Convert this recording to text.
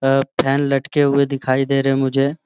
आ fan लटके हुए दिखाई देरे हैं मुझे।